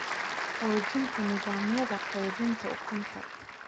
Xoojinta Nidaamyada Qaybinta Ukunta.